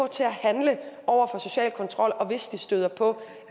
til at handle over for social kontrol og hvis de støder på